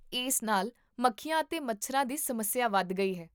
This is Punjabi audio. ਇਸ ਨਾਲ ਮੱਖੀਆਂ ਅਤੇ ਮੱਛਰਾਂ ਦੀ ਸਮੱਸਿਆ ਵਧ ਗਈ ਹੈ